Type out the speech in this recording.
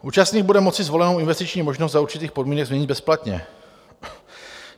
Účastník bude moci zvolenou investiční možnost za určitých podmínek změnit bezplatně.